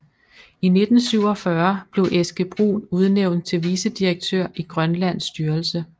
I 1947 blev Eske Brun udnævnt til vicedirektør i Grønlands Styrelse